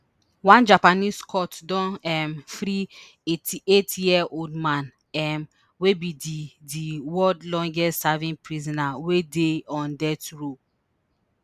One Japanese court don um free eighty-eight year old man um wey be di di world longest serving prisoner wey dey on death row